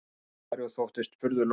sagði Ari og þóttist furðulostinn.